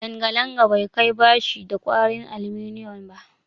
Langalanga bai kai bashi da kwarin aluminiyum ba